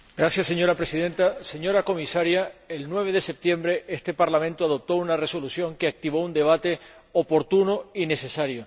Señora Presidenta, señora Comisaria, el 9 de septiembre este Parlamento aprobó una resolución que activó un debate oportuno y necesario.